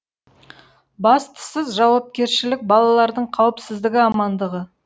бастысы жауапкершілік балалардың қауіпсіздігі амандығы